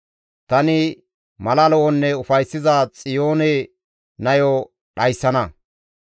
Tani mala lo7onne ufayssiza Xiyoone nayo dhayssana.